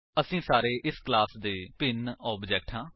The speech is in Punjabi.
ਅਸੀ ਸਾਰੇ ਇਸ ਕਲਾਸ ਦੇ ਭਿੰਨ ਆਬਜੇਕਟਸ ਹਾਂ